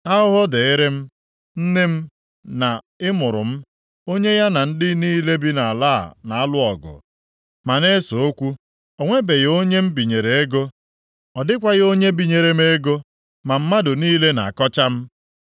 Ahụhụ dịịrị m, nne m, na ị mụrụ m, onye ya na ndị niile bi nʼala a na-alụ ọgụ, ma na-ese okwu. O nwebeghị onye m binyere ego, ọ dịkwaghị onye binyere m ego, ma mmadụ niile na-akọcha m.